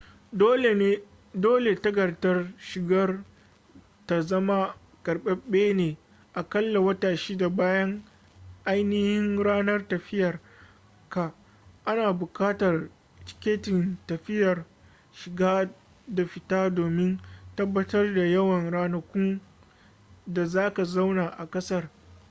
dole takardar shigar ka ta zama karbabbe na akalla wata 6 bayan ainihin ranar tafiyar ka ana bukatar tiketin tafiyar shiga da fita domin tabbatar da yawan ranakun da zaka zauna a kasar